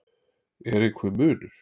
Er einhver munur?